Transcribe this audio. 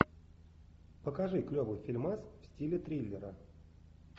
покажи клевый фильмас в стиле триллера